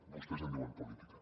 vostès en diuen política